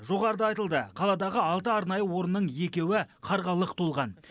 жоғарыда айтылды қаладағы алты арнайы орынның екеуі қарға лық толған